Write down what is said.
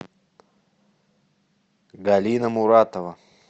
галина муратова